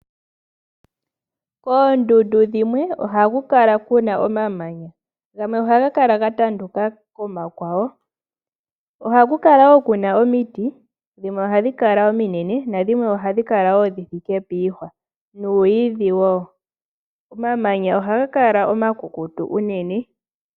Koondundu dhimwe ohaku kala ku na omamanya. Gamwe ohaga kala ga tanduka komakwawo. Ohaku kala wo ku na omiti. Dhimwe ohadhi kala ominene nadhimwe ohadhi kala wo dhi thike puuhwa nuuyidhi wo. Omamanya ohaga kala omakukutu unene.